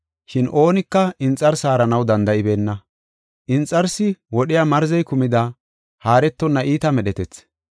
Shin oonika inxarsi haaranaw danda7ibeenna. Inxarsi wodhiya marzey kumida haaretonna iita medhetethi.